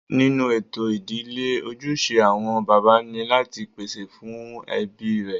Nínú ètò ìdílé, ojúṣe àwọn bàbá ni láti pèsè fún ẹbí rẹ̀